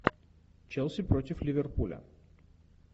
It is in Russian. челси против ливерпуля